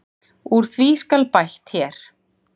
Úr því skal bætt hér.